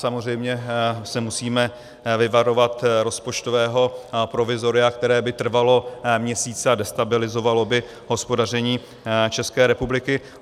Samozřejmě se musíme vyvarovat rozpočtového provizoria, které by trvalo měsíce a destabilizovalo by hospodaření České republiky.